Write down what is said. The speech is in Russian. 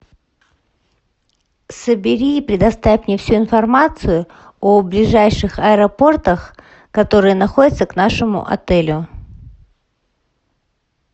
собери и предоставь мне всю информацию о ближайших аэропортах которые находятся к нашему отелю